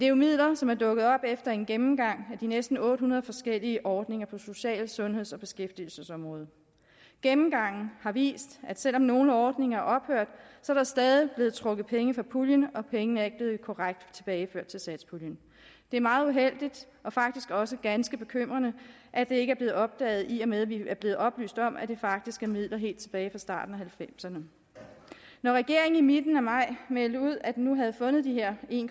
jo midler som er dukket op efter en gennemgang af de næsten otte hundrede forskellige ordninger på social sundheds og beskæftigelsesområdet gennemgangen har vist at selv om nogle ordninger er ophørt er der stadig blevet trukket penge fra puljen og pengene er ikke blevet korrekt tilbageført til satspuljen det er meget uheldigt og faktisk også ganske bekymrende at det ikke er blevet opdaget i og med at vi er blevet oplyst om at det faktisk er midler helt tilbage fra starten af nitten halvfemserne når regeringen i midten af maj meldte ud at de nu havde fundet de her en